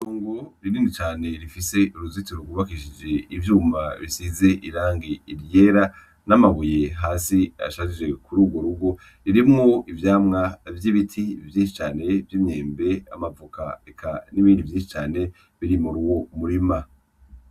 Itongo rinini cane rifise uruzitiro gwubakishije ivyuma bisize irangi ryera n' amabuye hasi ashajije kuri ugwo rugo, ririmwo ivyamwa vy' ibiti vyinshi cane vy' imyembe, amavoka eka n' ibindi vyinshi cane biri muri uwo murima.